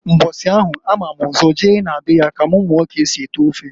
Mbọsi anwa a mam ụzọ je na be ya ka m muo k'esi ete ofe.